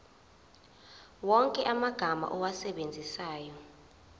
wonke amagama owasebenzisayo